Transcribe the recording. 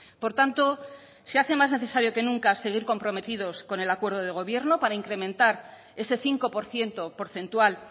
por tanto se hace más necesario que nunca seguir comprometidos con el acuerdo de gobierno para incrementar ese cinco por ciento porcentual